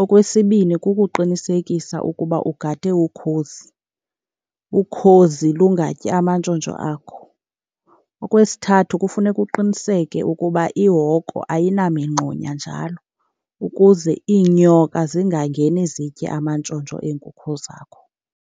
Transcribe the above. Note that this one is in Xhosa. Okwesibini, kukuqinisekisa ukuba ugade ukhozi, ukhozi lungatyi amantshontsho akho. Okwesithathu, kufuneka uqiniseke ukuba ihoko ayinamingxunya njalo, ukuze iinyoka zingangeni zitye amantshontsho eenkukhu zakho.